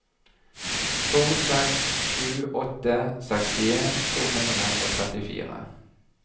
to seks sju åtte sekstien to hundre og trettifire